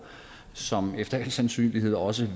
som efter al sandsynlighed også